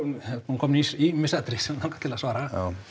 komnir í ýmis atriði sem mig langar til að svara